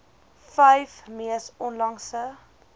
vyf mees onlangse